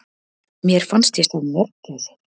Mér fannst ég sjá mörgæsir!